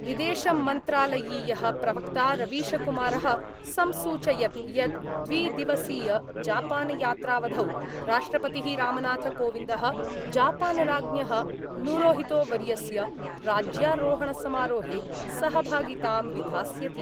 विदेश मन्त्रालयीयः प्रवक्ता रवीशकुमारः संसूचयद् यद् द्विदिवसीयजापानयात्रावधौ राष्ट्रपतिः रामनाथकोविन्दः जापानराज्ञः नूरोहितोवर्यस्य राज्यारोहणसमारोहे सहभागितां विधास्यति।